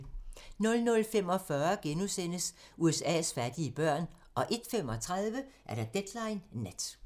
00:45: USA's fattige børn * 01:35: Deadline Nat